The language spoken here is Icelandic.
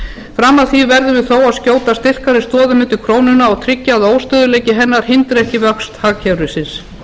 fram að því verðum við þó að skjóta styrkari stoðum undir krónuna og tryggja að óstöðugleiki hennar hindri ekki vöxt hagkerfisins